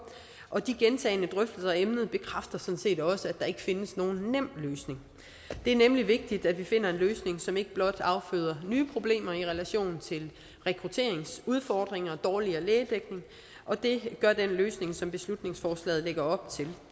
og de gentagne drøftelser af emnet bekræfter sådan set også at der ikke findes nogen nem løsning det er nemlig vigtigt at vi finder en løsning som ikke blot afføder nye problemer i relation til rekrutteringsudfordringer og dårligere lægedækning og det gør den løsning som beslutningsforslaget lægger op til